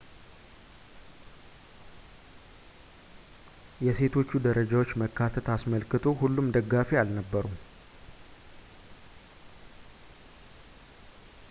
የሴቶቹ ደረጃዎች መካተት አስመልክቶ ሁሉም ደጋፊ አልነበሩም